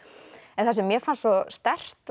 en það sem mér fannst svo sterkt